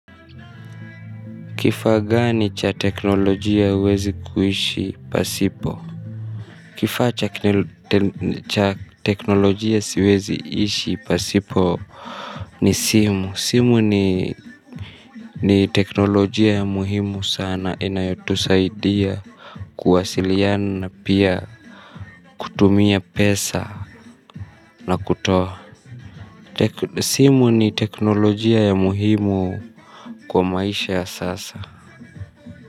Kifaa gani cha teknolojia huwezi kuishi pasipo kifaa cha cha teknolojia siwezi ishi pasipo ni simu simu ni ni teknolojia ya muhimu sana inayotusaidia kuwasiliana pia kutumia pesa na kutoa simu ni teknolojia ya muhimu kwa maisha ya sasa.